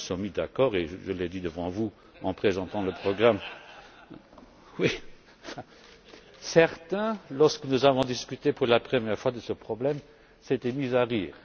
Nous nous sommes mis d'accord et je l'ai dit devant vous en présentant le programme. Certains, lorsque nous avons discuté pour la première fois de ce problème, s'étaient mis à rire.